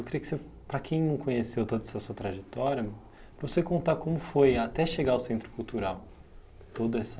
Eu queria que você, para quem não conheceu toda essa sua trajetória, para você contar como foi até chegar ao Centro Cultural, toda essa